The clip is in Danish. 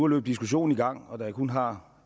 løbe diskussionen i gang og da jeg kun har